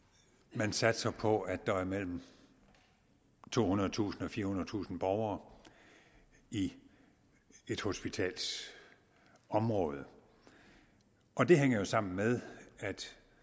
man satser på at der er mellem tohundredetusind og firehundredetusind borgere i et hospitals område og det hænger jo sammen med at